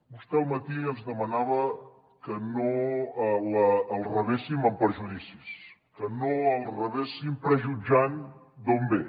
vostè al matí ens demanava que no el rebéssim amb prejudicis que no el rebéssim prejutjant d’on ve